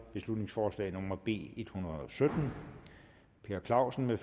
beslutningsforslag nummer b en hundrede og sytten per clausen